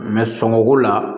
sɔngɔko la